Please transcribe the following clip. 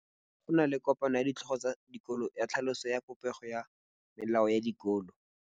Go na le kopanô ya ditlhogo tsa dikolo ya tlhaloso ya popêgô ya melao ya dikolo.